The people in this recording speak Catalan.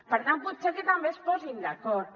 per tant potser que també es posin d’acord